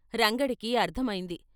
రంగడికి అర్థమైంది.